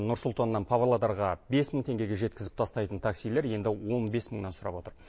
нұр сұлтаннан павлодарға бес мың теңгеге жеткізіп тастайтын таксилер енді он бес мыңнан сұрап отыр